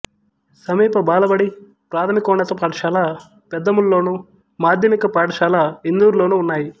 సమీప బాలబడి ప్రాథమికోన్నత పాఠశాల పెద్దేముల్లోను మాధ్యమిక పాఠశాల ఇందూర్లోనూ ఉన్నాయి